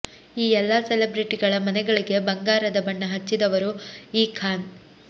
ಈ ಎಲ್ಲ ಸೆಲೆಬ್ರಿಟಿಗಳ ಮನೆಗಳಿಗೆ ಬಂಗಾರದ ಬಣ್ಣ ಹಚ್ಚಿದವರು ಈ ಖಾನ್